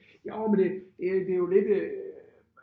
Jo men det det det jo lidt øh